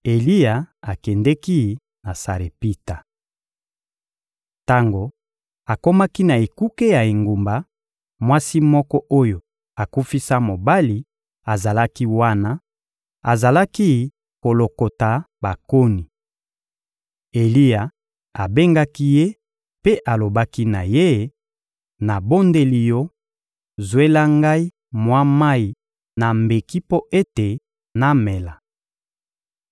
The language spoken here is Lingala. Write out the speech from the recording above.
Eliya akendeki na Sarepita. Tango akomaki na ekuke ya engumba, mwasi moko oyo akufisa mobali azalaki wana; azalaki kolokota bakoni. Eliya abengaki ye mpe alobaki na ye: — Nabondeli yo, zwela ngai mwa mayi na mbeki mpo ete namela.